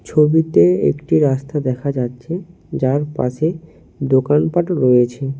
ছবিতে একটি রাস্তা দেখা যাচ্ছে যার পাশে দোকানপাটও রয়েছে।